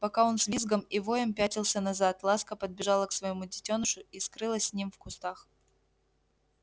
пока он с визгом и воем пятился назад ласка подбежала к своему детёнышу и скрылась с ним в кустах